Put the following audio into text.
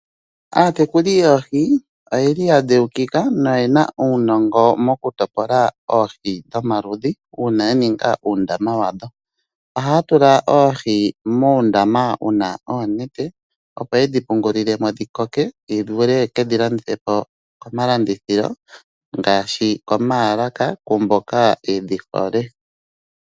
Aatekuli yoohi oya dheukika noye na uunongo mokutopola oohi dhomaludhi uuna ya ninga uundama wadho. Ohaya tula oohi muundama wu na oonete, opo ye dhi pungule mo dhi koke dhi vule ye ke dhi landithe po komalandithilo ngaashi koomaalaka kwaa mboka ye dhi hole.